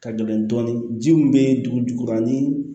Ka gɛlɛn dɔɔnin ji min bɛ dugu jukɔrɔ ni